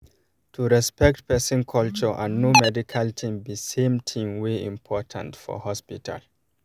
to respect um person culture and um know medical thing be same thing wey important for hospital